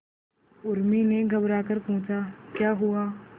उर्मी ने घबराकर पूछा क्या हुआ